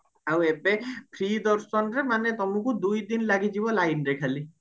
ଆଉ ଏବେ free ଦର୍ଶନରେ ମାନେ ତମକୁ ଦୁଇ ଦିନ ଲାଗିଯିବ lineରେ ଖାଲି